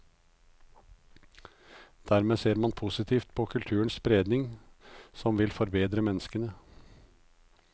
Dermed ser man positivt på kulturens spredning, som vil forbedre menneskene.